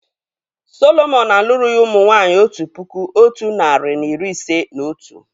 Sọlọmọn alụrụghi ụmụ nwanyị otu puku otu nari na iri ise na otu